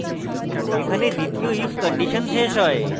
এখানে দ্বিতীয় if condition শেষ হয়